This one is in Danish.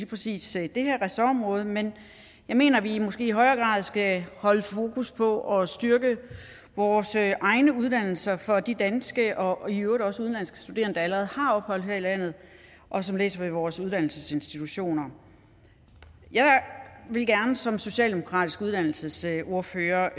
præcis det her ressortområde men jeg mener at vi måske i højere grad skal holde fokus på at styrke vores egne uddannelser for de danske og i øvrigt også udenlandske studerende der allerede har ophold her i landet og som læser ved vores uddannelsesinstitutioner jeg vil gerne som socialdemokratisk uddannelsesordfører